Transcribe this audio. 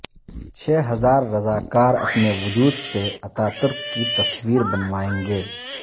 چھ ہزار رضا کار اپنے وجود سے اتاترک کی تصویربنوائیں گے